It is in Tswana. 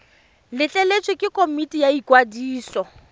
letleletswe ke komiti ya ikwadiso